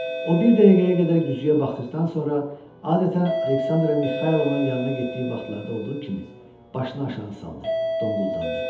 O bir dəqiqəyə qədər güzgüyə baxdıqdan sonra adətən Aleksandra Mixaylovanın yanına getdiyi vaxtlarda olduğu kimi başını aşağı saldı, donquldandı.